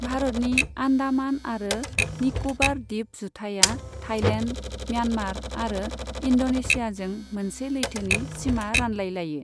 भारतनि आन्डामान आरो निक'बार दीप जुथाइया थाईलेन्ड, म्यान्मार आरो इन्ड'नेशियाजों मोनसे लैथोनि सिमा रानलायलायो।